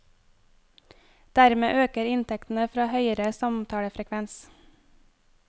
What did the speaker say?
Dermed øker inntektene fra høyere samtalefrekvens.